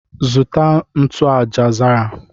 Zụta ntụ aja zara